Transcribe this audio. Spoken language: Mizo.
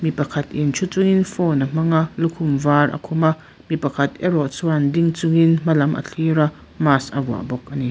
pakhat in thu chung in phone a hmang a lukhum var a khum a mi pakhat erawh chuan ding chungin hmalam a thlir a mask a vuah bawk ani.